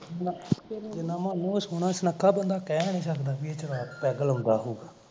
ਜਿੰਨਾ ਉਹਦਾ ਮੂਹ ਸੋਹਣਾ ਸੁਣੱਖਾ ਬੰਦਾ ਕਹਿ ਨੀ ਸਕਦਾ ਵੀ ਏਹ ਸ਼ਰਾਬ ਪੈੱਗ ਲਾਉਂਦਾ ਹੋਉਗਾ